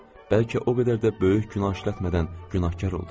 Bəlkə o qədər də böyük günah işlətmədən günahkar oldum.